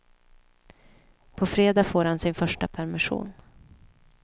På fredag får han sin första permission.